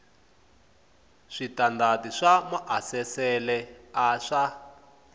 switandati swa maasesele a swa